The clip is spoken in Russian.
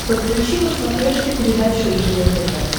подключи на смотрешке передачу ржд тв